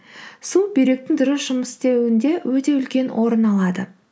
су бүйректің дұрыс жұмыс істеуінде өте үлкен орын алады